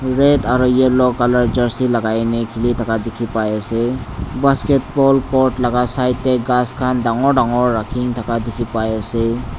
red aro yellow colour jersey lakai na khili thaka dikhipaiase basketball court laka side tae ghas khan dangor dangor rakhi na thaka dikhipaiase.